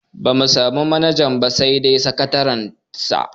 Bamu samu manajan ba sai dai sakatariyar sa.